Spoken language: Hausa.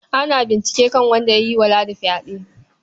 Ana bincike kan wanda ya yi wa Ladi fyaɗe.